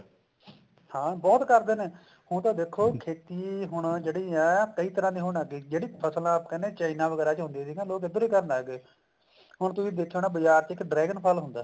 ਹਾਂ ਬਹੁਤ ਕਰਦੇ ਨੇ ਹੁਣ ਤਾਂ ਦੇਖੋ ਖੇਤੀ ਹੁਣ ਜਿਹੜੀ ਹੈ ਕਈ ਤਰ੍ਹਾਂ ਦੀ ਹੋਣ ਲੱਗ ਗਈ ਜਿਹੜੀ ਫਸਲਾਂ china ਵਗੈਰਾ ਚ ਹੁੰਦੀ ਤੀ ਲੋਕ ਇੱਧਰ ਵੀ ਪੈਦਾ ਕਰਨ ਲੱਗਗੇ ਹੁਣ ਤੁਸੀਂ ਦੇਖਿਆ ਹੋਣਾ ਬਜ਼ਾਰ ਚ ਇੱਕ dragon ਫਲ ਹੁੰਦਾ